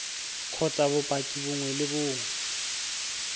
kgotsa bopaki bongwe le bongwe